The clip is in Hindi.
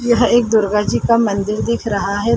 यह एक दुर्गाजी का मंदिर दिख रहा है।